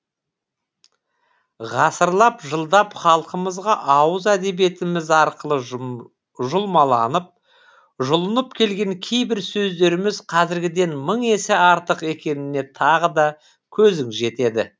ғасырлап жылдап халқымызға ауыз әдебиетіміз арқылы жұлмаланып жұлынып келген кейбір сөздеріміз қазіргіден мың есе артық екеніне тағы да көзің жетеді